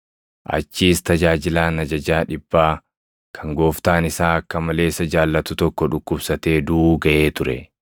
Achis tajaajilaan ajajaa dhibbaa kan gooftaan isaa akka malee isa jaallatu tokko dhukkubsatee duʼuu gaʼee ture.